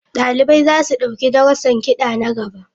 Dalibai za su ɗauki darussan kiɗa na gaba.